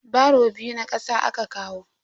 Baro biyu na kasa aka kawo.